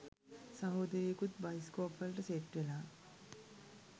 සහෝදරියකුත් bioscope වලට set වෙලා